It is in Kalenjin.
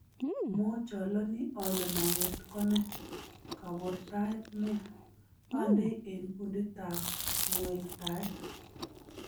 Mochalani ale maget kone, kabortaet neya. Andei eng Kundit ab ngweltaet